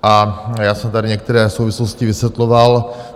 A já jsem tady některé souvislosti vysvětloval.